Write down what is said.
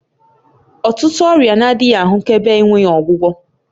Ọtụtụ ọrịa na-adịghị ahụkebe enweghị ọgwụgwọ